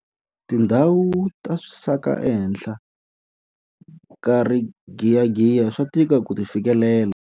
Tindhawu ta swisaka ehenhla ka rigiyagiya swa tika ku ti fikelela.